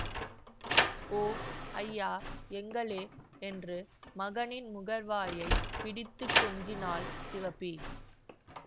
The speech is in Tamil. ஒங் ஐயா எங்கலே என்று மகனின் முகவாயைப் பிடித்து கொஞ்சினாள் சிவப்பி